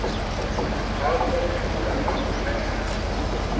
ha muvula na u mela